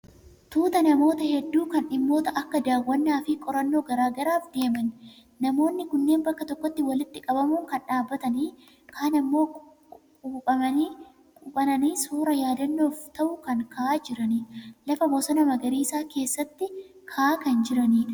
Tuuta namoota hedduu kan dhimmoota akka daawwannaa fi qorannoo garaa garaaf deeman. Namoonni kunneen bakka tokkotti walitti qabamuun kaan dhaabbatanii kaan ammoo quuphananii suuraa yaadannoof ta'u kan ka'aa jiranidha. Lafa bosona magariisa keessatti ka'aa kan jiranidha.